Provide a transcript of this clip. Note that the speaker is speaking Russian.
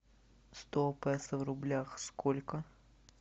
сто песо в рублях сколько